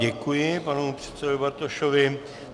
Děkuji panu předsedovi Bartošovi.